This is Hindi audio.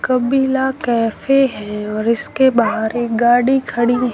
कबीला कैफे हैं और इसके बाहर एक गाड़ी खड़ी--